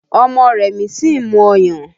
Ọmọ Remi sì ń mu ọyàn